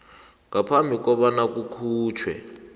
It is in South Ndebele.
ngaphambi kobana kukhutjhwe